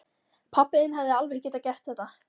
Pabbi þinn hefði alveg getað gert þetta.